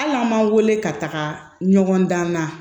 Hali n'an m'an wele ka taga ɲɔgɔn dan na